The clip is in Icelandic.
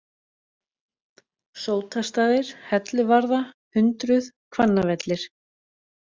Sótastaðir, Helluvarða, Hundruð, Hvannavellir